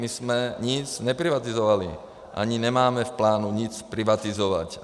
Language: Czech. My jsme nic neprivatizovali, ani nemáme v plánu nic privatizovat.